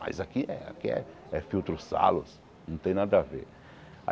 Mas aqui é aqui é filtro salos, não tem nada a ver.